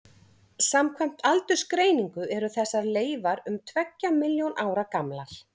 samkvæmt aldursgreiningu eru þessar leifar um tveggja milljón ára gamlar